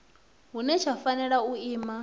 hune tsha fanela u ima